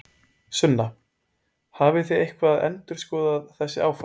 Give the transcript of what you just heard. Sunna: Hafið þið eitthvað endurskoðað þessi áform?